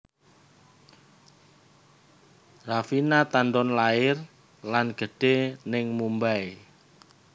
Raveena Tandon lair lan gedhe ning Mumbai